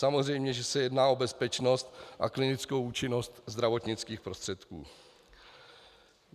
Samozřejmě že se jedná o bezpečnost a klinickou účinnost zdravotnických prostředků.